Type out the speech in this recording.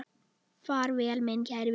Far vel, minn kæri vinur.